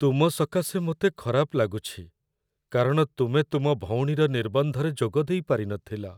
ତୁମ ସକାଶେ ମୋତେ ଖରାପ ଲାଗୁଛି କାରଣ ତୁମେ ତୁମ ଭଉଣୀର ନିର୍ବନ୍ଧରେ ଯୋଗ ଦେଇପାରିନଥିଲ।